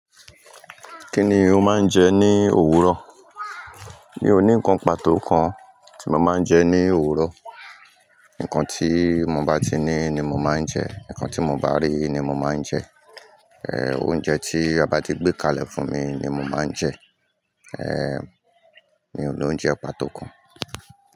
Kí ni o máa ń jẹ ní òwúrọ̀? Mi ò ní ǹkan pàtó kan tí mo máa ń jẹ ní òwúrọ̀. Ǹkan tí mo bá ti ní ni mo máa ń jẹ, ǹkan tí mo bá rí ni mo máa ń jẹ. Oúnjẹ tí àbá ti gbé kalẹ̀ fún mi ni mo máa ń jẹ. Mi ò lo oúnjẹ pàtó kan.